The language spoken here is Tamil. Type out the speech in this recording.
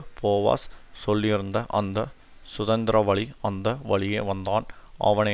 போவாஸ் சொல்லியிருந்த அந்த சுதந்தரவளி அந்த வழியே வந்தான் அவனை